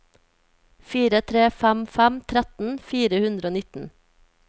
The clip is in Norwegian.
fire tre fem fem tretten fire hundre og nitten